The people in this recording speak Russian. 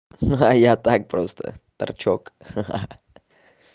а я так просто торчок ха-ха